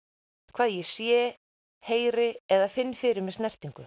hvað ég sé heyri eða finn fyrir með snertingu